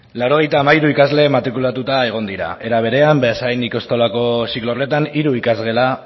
laurogeita hamairu ikasle matrikulatuta egon dira era berean beasain ikastolako ziklo horretan hiru ikasgela